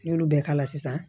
N' y'olu bɛɛ k'a la sisan